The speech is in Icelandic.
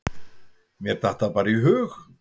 Mér datt það bara í hug.